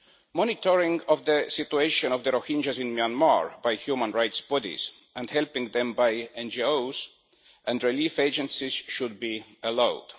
Monitoring of the situation of the Rohingyas in Myanmar by human rights bodies and helping them by NGOs and relief agencies should be allowed.